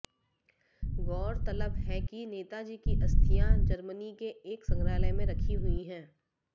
गौरतलब है कि नेताजी की अस्थियां जर्मनी के एक संग्रहालय में रखी हुई हैं